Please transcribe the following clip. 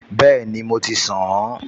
Bẹ́ẹ̀ni, mo ti ṣàn-an